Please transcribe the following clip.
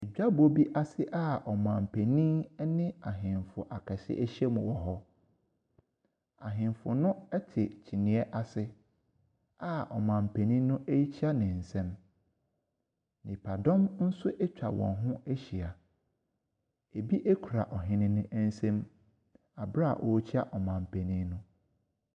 Dwabɔ bi ase a ɔman panin ne ahemfo akɛse ahyiam wɔ hɔ. Ahemfo no te kyiniiɛ ase a ɔman panin no rekyia ne nsam. Nnipadɔm nso atwa wɔn ho ahyia. Ebi no kura ɔhene no nsam bere a wɔrekyia ɔman penin no.